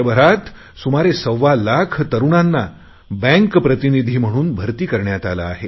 देशभरात सुमारे सव्वालाख तरुणांना बँक प्रतिनिधी म्हणून भरती करण्यात आले आहे